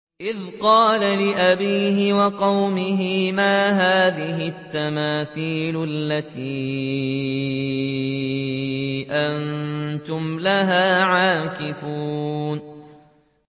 إِذْ قَالَ لِأَبِيهِ وَقَوْمِهِ مَا هَٰذِهِ التَّمَاثِيلُ الَّتِي أَنتُمْ لَهَا عَاكِفُونَ